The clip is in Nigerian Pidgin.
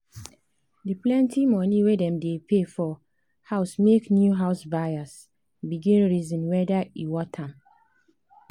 the plenty money wey dem dey pay for house make new house buyers begin reason whether e worth am.